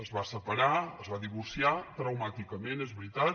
es va separar es va divorciar traumàticament és veritat